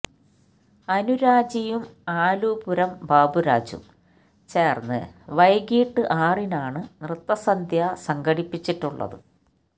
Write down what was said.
അനുരാജിയും ആലുപുരം ബാബുരാജും ചേർന്ന് വൈകിട്ട് ആറിനാണ് നൃത്തസന്ധ്യ സംഘടിപ്പിച്ചിട്ടുള്ളത്